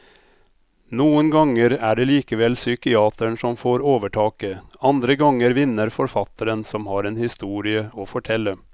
Noen ganger er det likevel psykiateren som får overtaket, andre ganger vinner forfatteren som har en historie å fortelle.